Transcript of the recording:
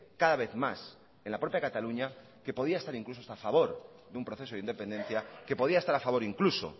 cada vez más en la propia cataluña que podía estar incluso estar a favor de un proceso de independencia que podía estar a favor incluso